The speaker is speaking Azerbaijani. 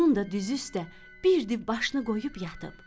Bunun da düz üstə bir div başını qoyub yatıb.